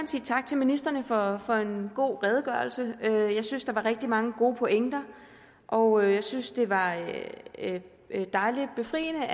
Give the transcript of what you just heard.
sige tak til ministrene for for en god redegørelse jeg synes der var rigtig mange gode pointer og jeg synes det var dejligt befriende